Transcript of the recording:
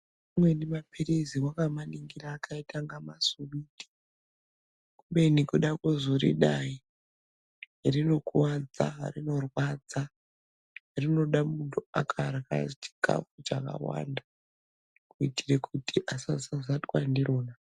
Amweni maphirizi wakamaningira akaita inga masuwiti kubeni kuda kuzoridai rinokuwadza rinorwadza rinoda munhu akarya chikafu chakawanda kuitire kuti asazazatwa ndirona.